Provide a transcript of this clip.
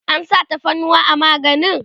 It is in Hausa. an sa tafarnuwa a maganin?